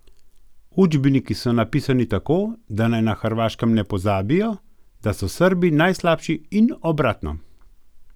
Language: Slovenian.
Učbeniki so napisani tako, da naj na Hrvaškem ne pozabijo, da so Srbi najslabši, in obratno.